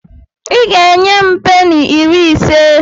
I ga-enye m peni iri ise.